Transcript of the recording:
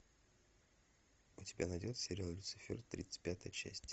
у тебя найдется сериал люцифер тридцать пятая часть